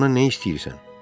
Sən ondan nə istəyirsən?